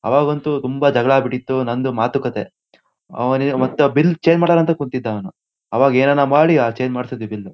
ಅವಾಗಂತೂ ತುಂಬಾ ಜಗಳ ಆಗ್ಬಿಟ್ಟಿತ್ತು ನಂದು ಮಾತುಕತೆ. ಅವ್ನ್ ಮತ್ತೆ ಬಿಲ್ ಚೇಂಜ್ ಮಾಡಲ್ಲಾ ಅಂತ ಕುಂತಿದ್ದ ಅವ್ನು. ಅವಾಗ ಏನೇನೋ ಮಾಡಿ ಆ ಚೇಂಜ್ ಮಾಡ್ಸಿದ್ವಿ ಬಿಲ್ಲು .--